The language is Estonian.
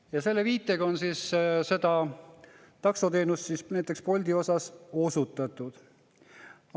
Ja selle viite on siis näiteks Bolt seda taksoteenust osutanud.